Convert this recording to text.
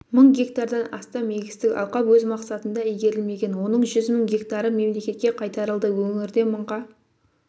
мың гектардан астам егістік алқап өз мақсатында игерілмеген оның жүз мың гектары мемлекетке қайтарылды өңірде мыңға